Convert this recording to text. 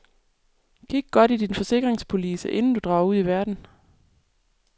Kig godt i din forsikringspolice inden du drager ud i verden.